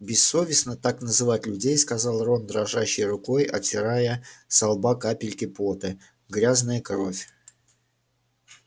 бессовестно так называть людей сказал рон дрожащей рукой отирая со лба капельки пота грязная кровь